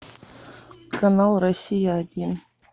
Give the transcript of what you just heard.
канал россия один